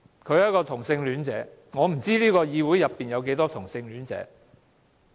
他是一名同性戀者，而我不知道這議會內有多少同性戀者。